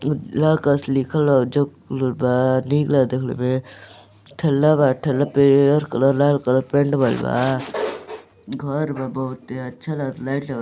लिखल बा निक लागता देखले मे ठेला बा ठेला पे हरियर कलर लाल कलर पेंट भईल बा घर बा बहुते अच्छा लागता लाइट लग--